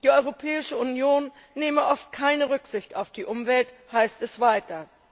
Die Europäische Union nehme oft keine Rücksicht auf die Umwelt, heißt es weiter.